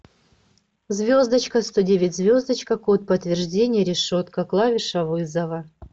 звездочка сто девять звездочка код подтверждения решетка клавиша вызова